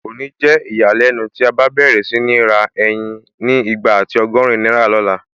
Kò ní jẹ́ ìyàlẹ́nu tí a bá n bẹ̀rẹ̀ sí ní ra ẹyin ni igba àti ọgọ́rin náírà lọ̀la